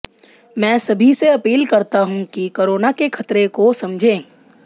मैं सभी से अपील करता हूं कि कोरोना के खतरे को समझें